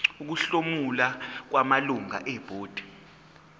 ukuhlomula kwamalungu ebhodi